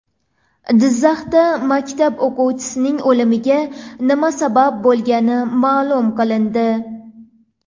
Jizzaxda maktab o‘quvchisining o‘limiga nima sabab bo‘lgani ma’lum qilindi.